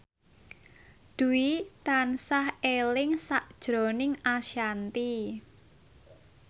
Dwi tansah eling sakjroning Ashanti